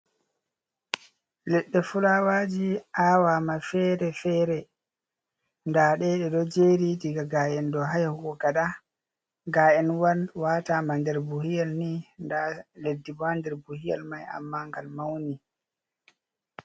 Ledɗe fulawaji awama fere-fere, ndaɗe ɗe ɗo jeri daga ga’en dou ha yahugo gaɗa. Ga’enwan watama nder buhu yelni nda leddi ha nder buhu yel mai amma ngal mauni.